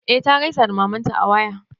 E ta gaisa da mamanta a waya.